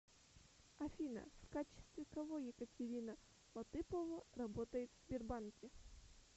афина в качестве кого екатерина латыпова работает в сбербанке